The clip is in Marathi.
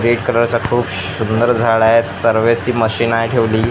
रेड कलरचा खूप शुंदर झाड आहे सर्वेसी मशीन आहे ठेवली.